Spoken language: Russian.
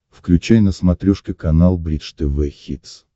включай на смотрешке канал бридж тв хитс